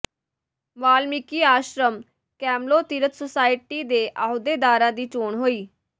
Valmiki Ashram Kamlo Tirath society ਦੇ ਅਹੁਦੇਦਾਰਾਂ ਦੀ ਚੋਣ ਹੋਈ